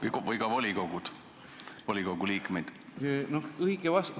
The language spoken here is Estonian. Või kas ka volikogud peaksid atesteerima volikogu liikmeid?